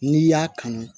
N'i y'a kanu